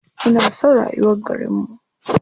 Ina son rayuwar garinmu.